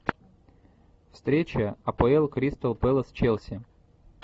встреча апл кристал пэлас челси